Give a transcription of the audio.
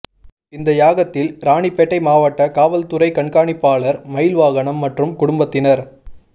இந்த யாகத்தில் ராணிப்பேட்டை மாவட்ட காவல்துறை கண்காணிப்பாளர் மயில்வாகனம் மற்றும் குடும்பத்தினர்